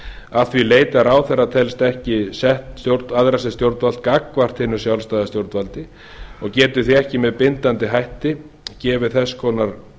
að því leyti að ráðherra telst ekki sett æðra sem stjórnvald gagnvart hinu sjálfstæða stjórnvaldi og getur því ekki með bindandi hætti gefið þess konar